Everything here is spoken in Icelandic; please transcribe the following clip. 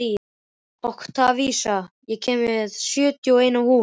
Oktavías, ég kom með sjötíu og eina húfur!